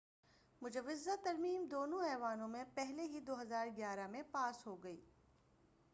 مجوزہ ترمیم دونوں ایوانوں میں پہلے ہی 2011 میں پاس ہو گئی